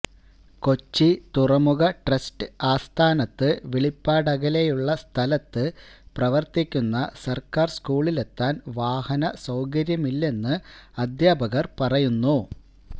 കൊച്ചി തുറമുഖട്രസ്റ്റ് ആസ്ഥാനത്ത് വിളിപ്പാടകലെയുള്ള സ്ഥലത്ത് പ്രവര്ത്തിക്കുന്ന സര്ക്കാര് സ്കൂളിലെത്താന് വാഹന സൌകര്യമില്ലെന്ന് അദ്ധ്യാപകര് പറയുന്നു